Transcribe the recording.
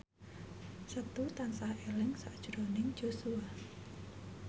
Setu tansah eling sakjroning Joshua